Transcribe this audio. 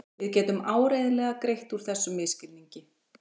Við getum áreiðanlega greitt úr þessum misskilningi.